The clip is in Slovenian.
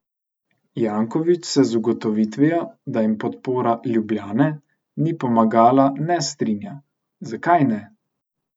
Janković se z ugotovitvijo, da jim podpora "Ljubljane" ni pomagala, ne strinja: "Zakaj ne?